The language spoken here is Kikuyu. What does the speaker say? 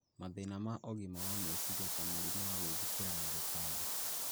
mathĩna ma ũgima wa meciria ta mũrimũ wa gwĩthikĩra na gũtangĩka.